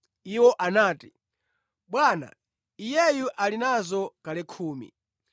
Iwo anati, “Bwana iyeyu ali nazo kale khumi!”